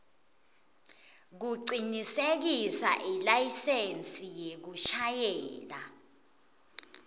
kucinisekisa ilayisensi yekushayela